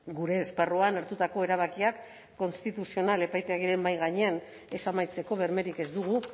gure esparruan hartutako erabakiak konstituzional epaitegiaren mahai gainean ez amaitzeko bermerik ez dugu